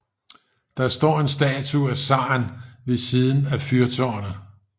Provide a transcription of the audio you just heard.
Det står en statue af zaren ved siden af fyrtårnet